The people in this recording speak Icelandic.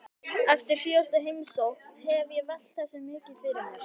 Eftir síðustu heimsókn hef ég velt þessu mikið fyrir mér.